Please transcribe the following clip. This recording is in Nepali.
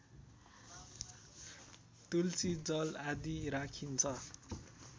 तुलसी जल आदि राखिन्छ